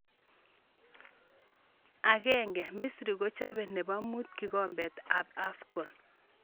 Agenge - Misri kochobe nebo mut kikombet ab Afcon.